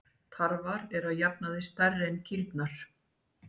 Tarfar eru að jafnaði stærri en kýrnar.